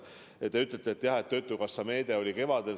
Te ütlete, et töötukassa meede oli kevadel.